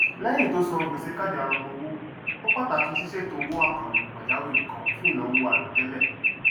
lẹyìn tó san gbèsè káàdì arọpọ owó ó pàtàkì sísètò owó àkànlò pàjáwìrì kan fún ìnáwó àìròtẹlẹ